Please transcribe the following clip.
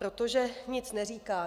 Protože nic neříká.